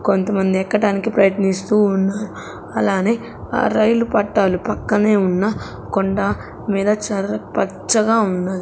కొంతమంది ఎక్కటానికి ప్రయత్నిస్తూ ఉన్నారు అలానే ఆ రైలు పట్టాలు పక్కనే ఉన్న కొండ మీద చర్ర-- పచ్చగా ఉన్న.